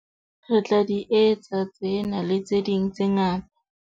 Re tla di etsa tsena, le tse ding tse ngata.